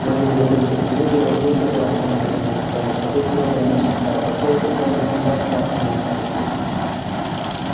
в один из апрельских дней белый клык которому к этому времени исполнился год снова вернулся в старый посёлок и там митса отснял с него упряжь